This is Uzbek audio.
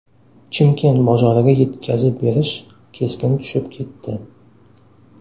Chimkent bozoriga yetkazib berish keskin tushib ketdi.